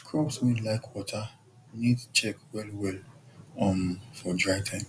crops wey like water need check wellwell um for dry time